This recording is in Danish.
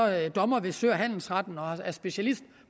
er dommer ved sø og handelsretten og specialist